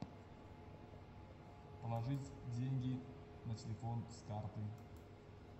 положить деньги на телефон с карты